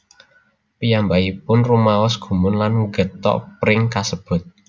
Piyambakipun rumaos gumun lan ngethok pring kasebut